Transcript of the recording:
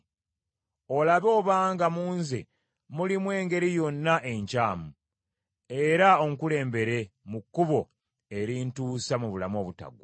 Olabe obanga mu nze mulimu engeri yonna enkyamu; era onkulembere mu kkubo erintuusa mu bulamu obutaggwaawo.